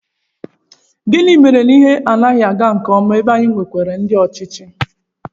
Gịnị mere na ihe anaghị aga nke ọma ebe anyị nwekwara ndị ọchịchị?